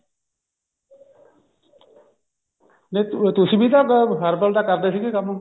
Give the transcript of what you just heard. ਜਦ ਤੁਸੀਂ ਵੀ ਤਾਂ herbal ਦਾ ਕਰਦੇ ਸੀ ਕੰਮ